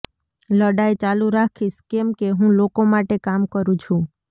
લડાઈ ચાલુ રાખીશ કેમ કે હું લોકો માટે કામ કરું છું